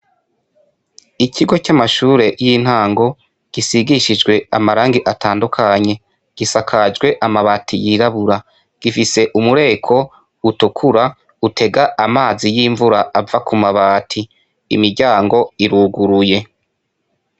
Ikigo c'amashure y'intango gisigishijwe amarangi atandukanye, gisakajwe amabati yirabura. Gifise umureko utukura utega amazi y'imvura ava ku mabati, imiryango iruguruye.